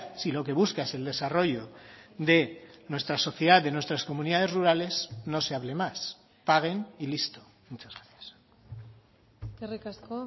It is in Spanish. si lo que busca es el desarrollo de nuestra sociedad de nuestras comunidades rurales no se hable más paguen y listo muchas gracias eskerrik asko